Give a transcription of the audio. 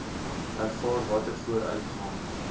ervaar watter vooruitgang